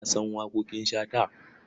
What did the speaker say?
Ka san waƙoƙin Shata?